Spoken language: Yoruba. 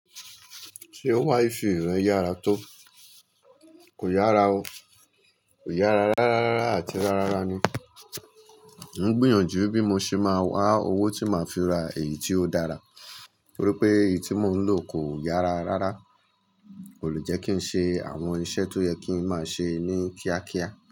Ṣé Wi-Fi rẹ yára tó? Kò yára o. Kò yára rárárá àti rárárá ni. Mo ń gbìyànjú bí mo ṣe máa wá owó tí màá fi ra èyí tí ó dára nítorí pé èyí tí mo ń lò kò yára rárá, kò lè jẹ́ kí n ṣe àwọn iṣẹ́ tó yẹ kí n máa ṣe ní kíákíá.